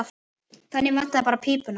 Það vantaði bara pípuna.